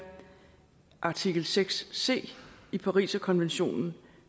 artikel seks c i pariserkonventionen